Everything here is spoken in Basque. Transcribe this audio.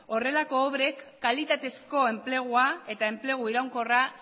horrelako obrek kalitatezko enplegua eta enplegu iraunkorra